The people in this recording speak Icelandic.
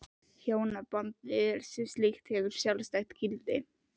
Hjónabandið sem slíkt hefur ekkert sjálfstætt gildi.